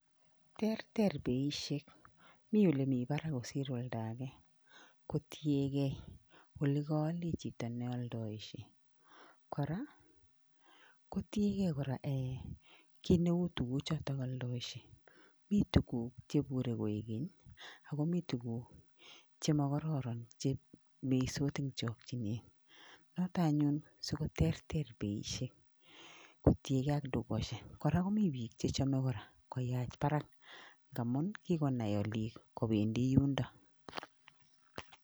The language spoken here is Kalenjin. Terter beishek mi ole barak kosir oldo age kotiegei ole koole chito neoldoishei kora kotiegei kora kit neu tukuchoto oldoishe mi tukuk cheibure koek keny akomi tukuk chemakororon chemisot eng' chokchinet noto anyun sikoterter beishek kotiekei ak dukoshek kora komi biik chechomei kora koyach barak amun kikonai olik kobendi yundo